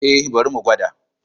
E, bari mu gwada.